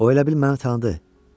O elə bil məni tanıdı.